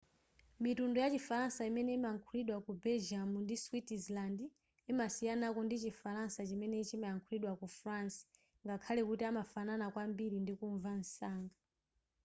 mitundu yachi falansa imene imalankhulidwa ku belgium ndi switzerland imasiyanako ndichi falansa chimene chimalankhulidwa ku france ngakhale kuti amafanana kwambiri ndikumva msanga